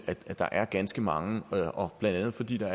at der er ganske mange blandt andet fordi der